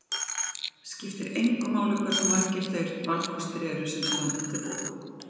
Skiptir engu máli hversu margir þeir valkostir eru sem standa til boða.